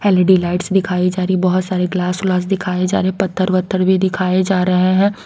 हेलेडी lights दिखाई जा रही है बहुत सारे ग्लास ग्लास दिखाए जा रहे हैं पत्थर वत्थर भी दिखाए जा रहे हैं।